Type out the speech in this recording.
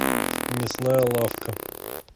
мясная лавка